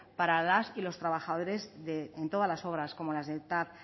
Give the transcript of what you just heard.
para las y los trabajadores de todas las obras como las del tav